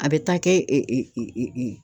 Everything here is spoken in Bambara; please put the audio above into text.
A bɛ taa kɛ